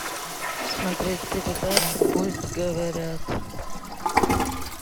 смотреть передачу пусть говорят